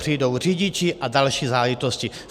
Přijdou řidiči a další záležitosti.